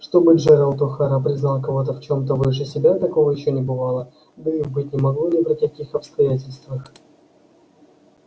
чтобы джералд охара признал кого-то в чем-то выше себя такого ещё не бывало да и быть не могло ни при каких обстоятельствах